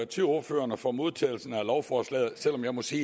til ordførerne for modtagelsen af lovforslaget selv om jeg må sige